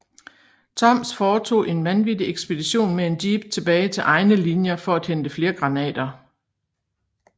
Toms foretog en vanvittig ekspedition med en jeep tilbage til egne linjer for at hente flere granater